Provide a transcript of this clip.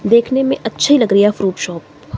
देखने में अच्छी लग रही है फ्रूट शॉप ।